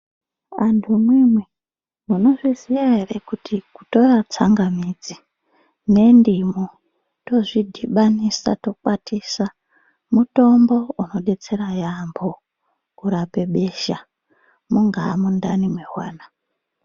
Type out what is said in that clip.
Antu amweni maizviziva ere kutora tsangamidzi nendimu tozvidhibanisa tokwatisa mutombo unodetsera yambo kurapa besha mungawa mundani mevana.